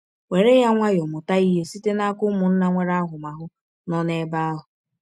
Were ya nwayọọ; mụta ihe site n’aka ụmụnna nwere ahụmahụ nọ n’ebe ahụ.